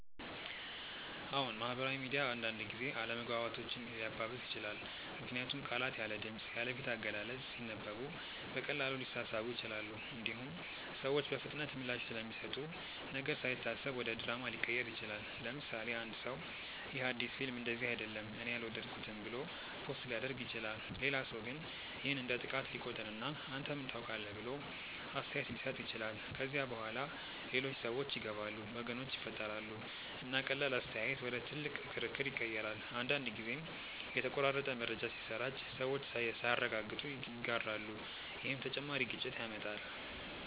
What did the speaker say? አዎን፣ ማህበራዊ ሚዲያ አንዳንድ ጊዜ አለመግባባቶችን ሊያባብስ ይችላል። ምክንያቱም ቃላት ያለ ድምፅ፣ ያለ ፊት አገላለጽ ሲነበቡ በቀላሉ ሊሳሳቡ ይችላሉ። እንዲሁም ሰዎች በፍጥነት ምላሽ ስለሚሰጡ ነገር ሳይታሰብ ወደ ድራማ ሊቀየር ይችላል። ለምሳሌ፣ አንድ ሰው “ይህ አዲስ ፊልም እንደዚህ አይደለም እኔ አልወደድኩትም” ብሎ ፖስት ሊያደርግ ይችላል። ሌላ ሰው ግን ይህን እንደ ጥቃት ሊቆጥር እና “አንተ ምን ታውቃለህ?” ብሎ አስተያየት ሊሰጥ ይችላል። ከዚያ በኋላ ሌሎች ሰዎች ይገባሉ፣ ወገኖች ይፈጠራሉ፣ እና ቀላል አስተያየት ወደ ትልቅ ክርክር ይቀየራል። አንዳንድ ጊዜም የተቆራረጠ መረጃ ሲሰራጭ ሰዎች ሳያረጋግጡ ይጋራሉ፣ ይህም ተጨማሪ ግጭት ያመጣል።